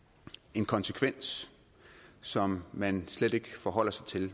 en konsekvens som man slet ikke forholder sig til